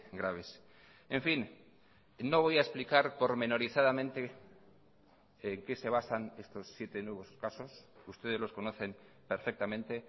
graves en fin no voy a explicar pormenorizadamente en qué se basan estos siete nuevos casos ustedes los conocen perfectamente